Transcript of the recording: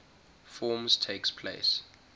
forms takes place